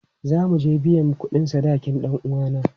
Za mu je biyan kudin sadakin dan uwana.